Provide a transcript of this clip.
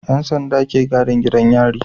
Yan sanda ke gadin gidan yari